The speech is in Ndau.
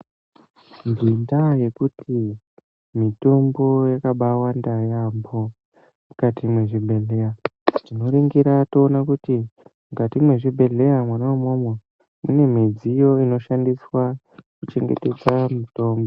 Ngendaa yekuti mitombo yakabawanda yaamho mukati mwezvibhedhleya. Tinoringira toona kuti mukati mwezvibhedhleya mwona imwomwo munemidziyo inoshandiswa kuchengetedza mitombo.